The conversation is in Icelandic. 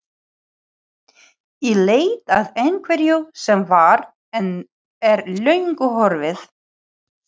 Í leit að einhverju sem var, en er löngu horfið.